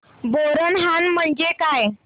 बोरनहाण म्हणजे काय